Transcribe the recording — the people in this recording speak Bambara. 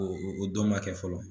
O o dɔ ma kɛ fɔlɔ.